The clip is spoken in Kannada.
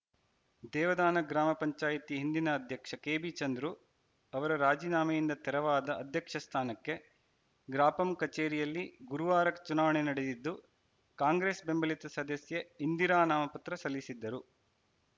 ದೇವದಾನ ಗ್ರಾಮ ಪಂಚಾಯಿತಿ ಹಿಂದಿನ ಅಧ್ಯಕ್ಷ ಕೆಬಿ ಚಂದ್ರು ಅವರ ರಾಜಿನಾಮೆಯಿಂದ ತೆರವಾದ ಅಧ್ಯಕ್ಷ ಸ್ಥಾನಕ್ಕೆ ಗ್ರಾಪಂ ಕಚೇರಿಯಲ್ಲಿ ಗುರುವಾರ ಚುನಾವಣೆ ನಡೆದಿದ್ದು ಕಾಂಗ್ರೆಸ್‌ ಬೆಂಬಲಿತ ಸದಸ್ಯೆ ಇಂದಿರಾ ನಾಮಪತ್ರ ಸಲ್ಲಿಸಿದ್ದರು